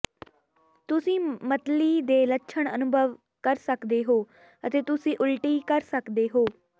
ਤੁਸੀਂ ਮਤਲੀ ਦੇ ਲੱਛਣ ਅਨੁਭਵ ਕਰ ਸਕਦੇ ਹੋ ਅਤੇ ਤੁਸੀਂ ਉਲਟੀ ਕਰ ਸਕਦੇ ਹੋ